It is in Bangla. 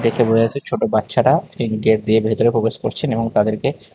ছোট বাচ্চারা মেন গেট দিয়ে ভেতরে প্রবেশ করছেন এবং তাদেরকে--